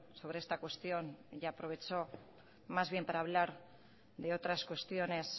sobre esta cuestión y aprovechó más bien para hablar de otras cuestiones